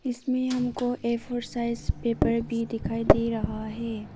इसमें हमको A four size paper भी दिखाई दे रहा है।